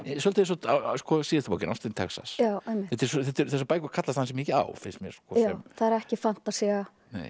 svolítið eins og síðasta bókin ástin Texas þessar bækur kallast ansi mikið á finnst mér það er ekki fantasía